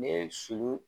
Ne ye sulu